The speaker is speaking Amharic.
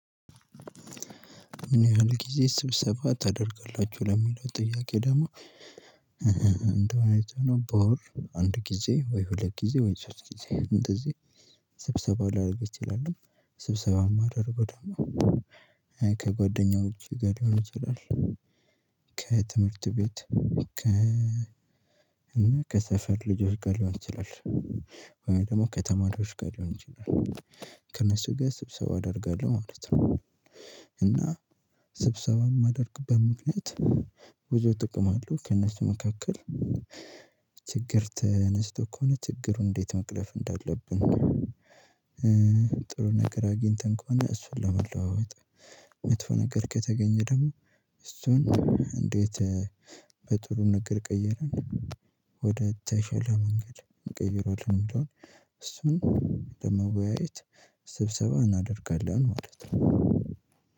ምን ያህል ጊዜ ስብሰባ ታደርገላችሁ ለሚለው ጥያቄ? ደግሞ እንደዕውነቱ ከሆነ በወር አንድ ጊዜ ወይ ሁለት ጊዜ ወይ ስብሰባ ላደርግ እችላለሁ ስብሰባው ማድረግ ደግሞ ከጓደኛዎቼ ጋር ሊሆን ይችላል ቤት እና ከሰፈር ልጆች ጋር ሊሆን ይችላል ወይ ደግሞ ከተማሪዎች ጋር ሊሆን ይችላል ከነሱ ጋር ስብሰባ አደርጋለሁ ማለት ነው። እና ስብሰባም የማደርግበት ምክንያት ብዙ ጥቅም አለው። ከእነሱ መካከል ችግር ተነስቶ ከሆነ ችግሩን እንዴት መቅረፍ እንዳለብን። ጥሩ ነገር አግኝተን ከሆነ እሱን ለመለዋወጥ። መጥፎ ነገር ከተገኘ ደግሞ እሱን እንዴት በጥሩ ነገር ቀየረን ወደ ተሻለ መንገድ እንቀይረዋለን ብለን። እሱን ለመወያየት ስብሰባ እናደርጋለን ማለት ነው።